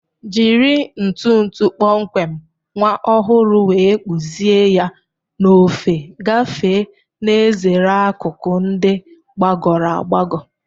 Jiri ntu ntu kpọmkwem nwa ọhụrụ wee kpụzie ya n'ofe gafee, na-ezere akụkụ ndị gbagọrọ agbagọ.